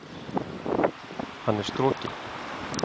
Hann er strokinn!